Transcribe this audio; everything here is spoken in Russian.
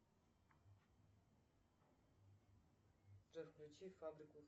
джой включи фабрику